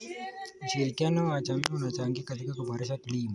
Ushirikiano wa jamii unachangia katika kuboresha kilimo.